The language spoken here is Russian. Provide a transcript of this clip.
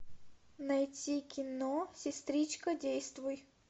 найти кино сестричка действуй